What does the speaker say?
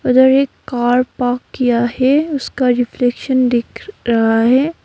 अंदर एक car park किया है उसका रिफ्लेक्शन दिख रहा है।